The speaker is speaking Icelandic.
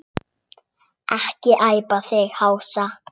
Ekki æpa þig hása!